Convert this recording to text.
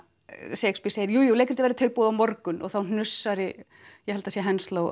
Shakespeare segir jú jú leikritið verður tilbúið á morgun og þá hnussar í ég held það sé